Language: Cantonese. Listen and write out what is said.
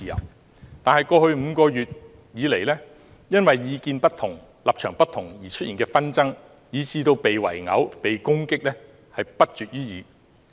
可是，在過去5個月，由於意見不同和立場不同而出現的紛爭，以至被圍毆和攻擊的事件不絕於耳。